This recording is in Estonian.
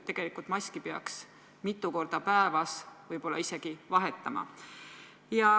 Tegelikult peaks maski isegi mitu korda päevas vahetama.